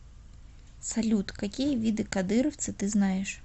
салют какие виды кадыровцы ты знаешь